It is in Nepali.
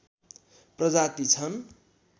प्रजाति छन्